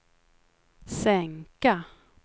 sänka